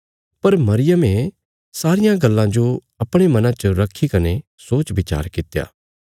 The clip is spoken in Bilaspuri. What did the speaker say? पर मरियमे सारियां गल्लां जो अपणे मना च रखी कने सोचविचार कित्या